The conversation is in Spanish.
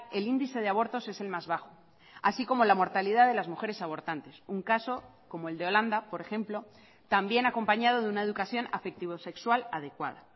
el índice de abortos es el más bajo así como la mortalidad de las mujeres abortantes un caso como el de holanda por ejemplo también acompañado de una educación afectivo sexual adecuada